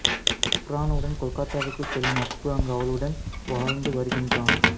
அபர்னாவுடன் கொல்கத்தாவிற்குச் செல்லும் அப்பு அங்கு அவளுடன் வாழ்ந்தும் வருகின்றான்